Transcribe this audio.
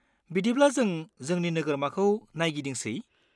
बिदिब्ला जों जोंनि नोगोरमाखौ नायगिदिंसै?